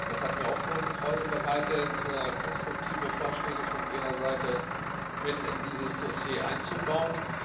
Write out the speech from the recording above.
Es hat mir auch große Freude bereitet, konstruktive Vorschläge von Ihrer Seite mit in dieses Dossier einzubauen.